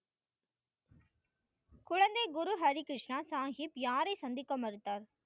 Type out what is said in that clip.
குழந்தை குரு ஹரி கிருஷ்ணா சாஹிப் யாரை சந்திக்க மறுத்தார்?